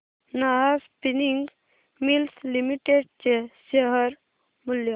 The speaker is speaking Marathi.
नाहर स्पिनिंग मिल्स लिमिटेड चे शेअर मूल्य